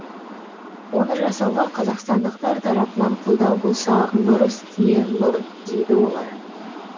оны жасауға қазақстандықтар тарапынан қолдау болса нұр үстіне нұр дейді олар